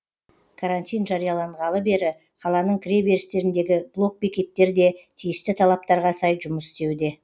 карантин жарияланғалы бері қаланың кіреберістеріндегі блокбекеттер де тиісті талаптарға сай жұмыс істеуде